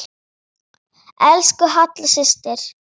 Elsku Halla systir.